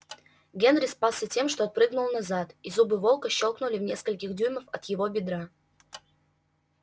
генри спасся тем что отпрыгнул назад и зубы волка щёлкнули в нескольких дюймах от его бедра